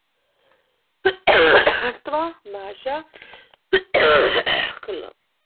महत्त्व भाषा